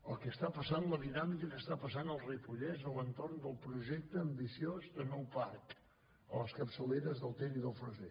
el que està passant la dinàmica que està passant al ripollès a l’entorn del projecte ambiciós de nou parc a les capçaleres del ter i del fresser